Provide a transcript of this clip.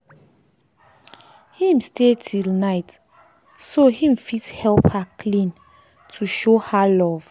him stay till night so him fit help her clean to show her love